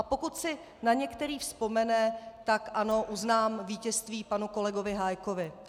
A pokud si na některý vzpomene, tak ano, uznám vítězství panu kolegovi Hájkovi.